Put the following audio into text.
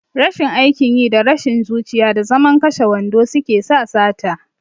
Rashin aikin yi, da rashin zuciya, da zaman kashe wando suke sa sata.